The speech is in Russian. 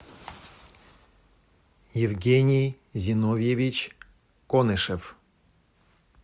евгений зиновьевич конышев